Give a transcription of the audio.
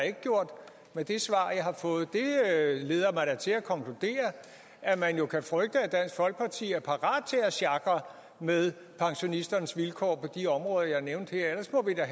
ikke gjort med det svar jeg har fået det leder mig da til at konkludere at man jo kan frygte at dansk folkeparti er parat til at sjakre med pensionisternes vilkår på de områder jeg nævnte her ellers må vi da